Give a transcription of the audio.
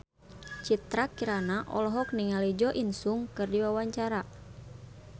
Citra Kirana olohok ningali Jo In Sung keur diwawancara